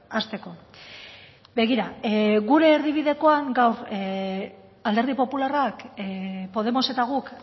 hasteko begira gure erdibidekoan gaur alderdi popularrak podemos eta guk